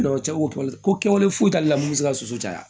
cɛ ko kɛwale foyi t'ale la mun be se ka soso caya